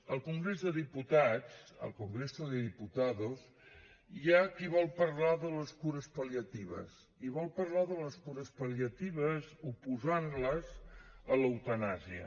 al congrés dels diputats al congreso de los diputados hi ha qui vol parlar de les cures pal·liatives i vol parlar de les cures pal·liatives oposant les a l’eutanàsia